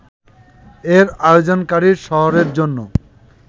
এর আয়োজনকারী শহরের জন্য